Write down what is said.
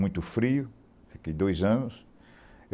Muito frio, fiquei dois anos.